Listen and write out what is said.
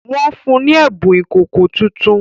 Wọ́n fún ni ẹ̀bùn ìkòkò tuntun